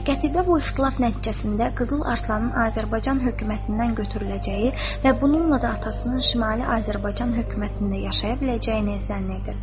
Qətibə bu ixtilaf nəticəsində Qızıl Arslanın Azərbaycan hökumətindən götürüləcəyi və bununla da atasının Şimali Azərbaycan hökumətində yaşaya biləcəyini zənn edirdi.